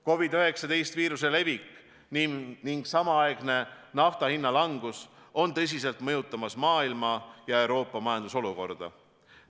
COVID-19 viiruse levik ning samaaegne nafta hinna langus on tõsiselt mõjutama hakanud Euroopa ja kogu maailma majandusolukorda.